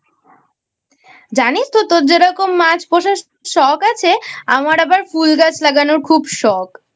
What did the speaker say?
জানিস তো তোর যেমন মাছ পোষার শখ আছে আমার আবার ফুল গাছ লাগানোর খুব শখ।